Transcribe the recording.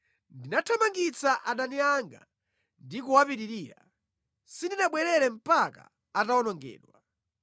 Ndinathamangitsa adani anga ndi kuwapitirira; sindinabwerere mpaka atawonongedwa.